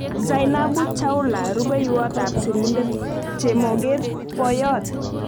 Zainabu Chaula-Rupeiywot ap sirindet chemoget-poyot